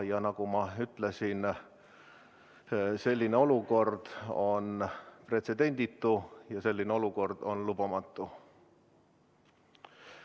Ja nagu ma ütlesin, selline olukord on pretsedenditu ja selline olukord on lubamatu.